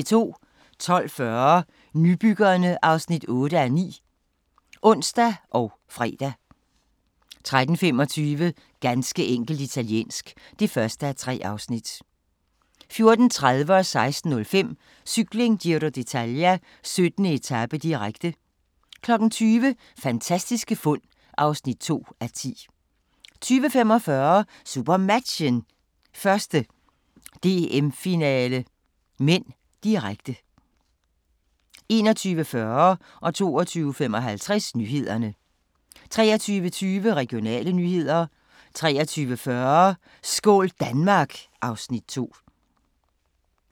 12:40: Nybyggerne (8:9)(ons og fre) 13:25: Ganske enkelt italiensk (1:3) 14:30: Cykling: Giro d'Italia - 17. etape, direkte 16:05: Cykling: Giro d'Italia - 17. etape, direkte 20:00: Fantastiske fund (2:10) 20:45: SuperMatchen: 1. DM-finale (m), direkte 21:40: Nyhederne 22:55: Nyhederne 23:22: Regionale nyheder 23:40: Skål Danmark! (Afs. 2)